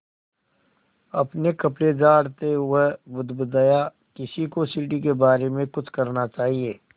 अपने कपड़े झाड़ता वह बुदबुदाया किसी को सीढ़ी के बारे में कुछ करना चाहिए